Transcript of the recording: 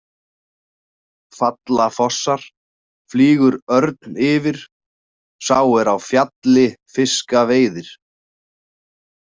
Falla fossar, flýgur örn yfir, sá er á fjalli fiska veiðir.